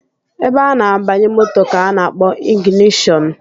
Ebe a na-agbanye moto ka a na-akpọ ịgịnịshọnụ